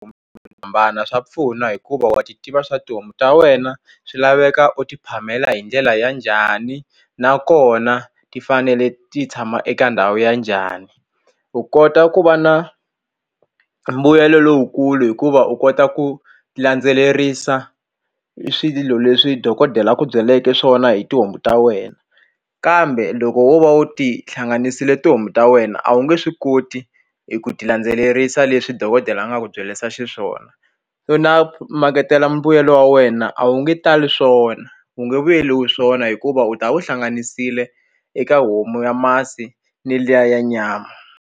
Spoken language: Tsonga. Ku hambana swa pfuna hikuva wa swi tiva swa tihomu ta wena swi laveka u ti phamela hi ndlela ya njhani nakona ti fanele ti tshama eka ndhawu ya njhani u kota ku va na mbuyelo lowukulu hikuva u kota ku landzelerisa i swilo leswi dokodela a ku byeleke swona hi tihomu ta wena kambe loko wo va u ti hlanganisile tihomu ta wena a wu nge swi koti hi ku ti landzelerisa leswi dokodela a nga ku byerisa xiswona so na makete na mbuyelo wa wena a wu nge tali swona wu nge vuyeriwi swona hikuva u ta wu hlanganisile eka homu ya masi ni liya ya nyama.